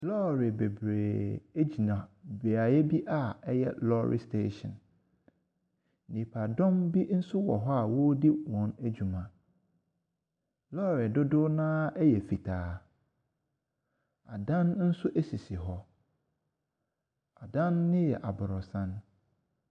Lɔre bebree gyina beaeɛ bi a ɛyɛ lɔre station. Nnipadɔm nso wɔ hɔ a wɔredi wɔn adwuma. Lɔre dodoɔ no ara yɛ fitaa. Adan nso sisi hɔ. Adan no yɛ aborosan.